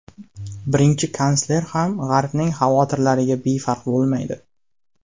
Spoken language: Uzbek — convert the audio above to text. Birinchi kansler ham g‘arbning xavotirlariga befarq bo‘lmaydi.